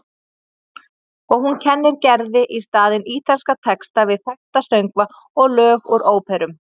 Og hún kennir Gerði í staðinn ítalska texta við þekkta söngva og lög úr óperum.